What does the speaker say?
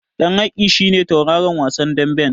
Ɗan Haki shi ne tauraron wasan daɓen.